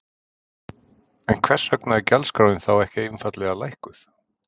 En hvers vegna er gjaldskráin þá ekki einfaldlega hækkuð?